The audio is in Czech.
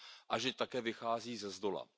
a že také vychází ze zdola.